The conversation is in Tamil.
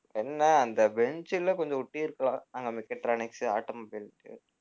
என்ன அந்த bench ல கொஞ்சம் ஒட்டியிருக்கலாம் அங்க mechatronics உ automobile உ